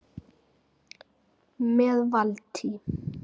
Með Valtý